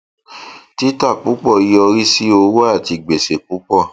títà púpọ yọrí sí owó àti gbèsè púpọ